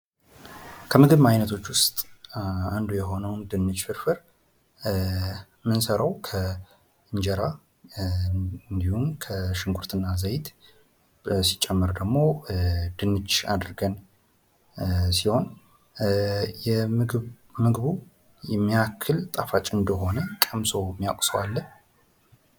ከምግብ አይነቶች ውስጥ አንዱ የሆነው ድንች ፍርፍር ምንሰራው ከእንጀራ እንዲሁም ከሽንኩርት እና ዘይት ሲጨመር ደሞ ድንች አድርገን ሲሆን ምግቡ ምን ያክል ጣፋጭ ምግብ እንደሆነ ቀምሶ የሚያቅ ሰው አለ?